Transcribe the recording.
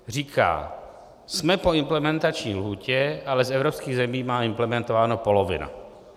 Říká: jsme po implementační lhůtě, ale z evropských zemí má implementováno polovina.